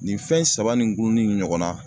Nin fɛn saba nin gunnin ɲɔgɔn na